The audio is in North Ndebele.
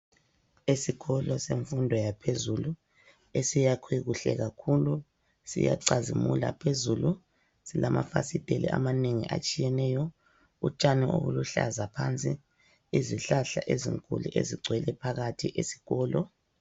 Esikolo semfundo yaphezulu esiyakhwe kuhle kakhulu siyacazimula phezulu, silamafasitela amanengi atshiyeneyo utshani obuluhlaza phansi. Izihlahla ezinkulu ezigcwele phakathi esikolo.